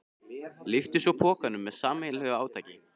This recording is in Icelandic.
Lyftu svo pokanum með sameiginlegu átaki.